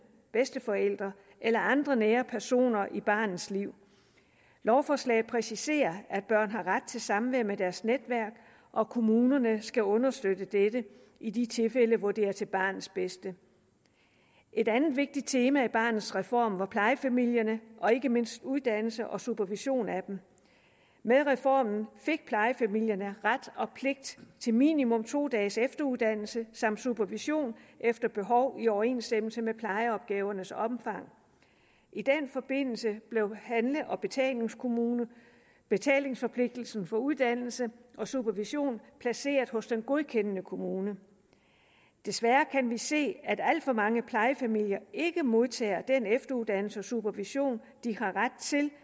bedsteforældre eller andre nære personer i barnets liv lovforslaget præciserer at børn har ret til samvær med deres netværk og kommunerne skal understøtte dette i de tilfælde hvor det er til barnets bedste et andet vigtigt tema i barnets reform var plejefamilierne og ikke mindst uddannelse og supervision af dem med reformen fik plejefamilierne ret og pligt til minimum to dages efteruddannelse samt supervision efter behov i overensstemmelse med plejeopgavernes omfang i den forbindelse blev handle og betalingsforpligtelsen for uddannelse og supervision placeret hos den godkendende kommune desværre kan vi se at alt for mange plejefamilier ikke modtager den efteruddannelse og supervision de har ret